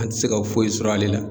An ti se ka foyi sɔrɔ ale la.